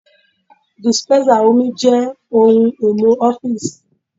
Dispensa omi jẹ́ ohun-èlò ọ́fíìsì.